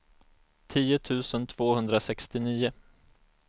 tio tusen tvåhundrasextionio